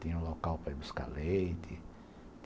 Tinha um local para buscar leite.